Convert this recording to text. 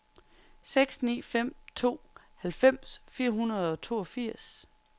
seks ni fem to halvfems fire hundrede og toogfirs